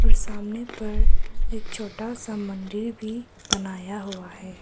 सामने पर एक छोटा सा मंदिर भी बनाया हुआ है।